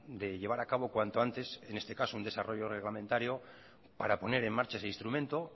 de llevar a cabo cuanto antes en este caso un desarrollo reglamentario para poner en marcha ese instrumento